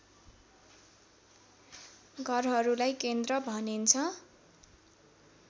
घरहरूलाई केन्द्र भनिन्छ